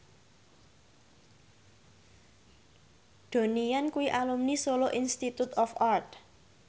Donnie Yan kuwi alumni Solo Institute of Art